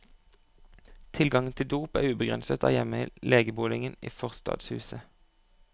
Tilgangen til dop er ubegrenset der hjemme i legeboligen i forstadshuset.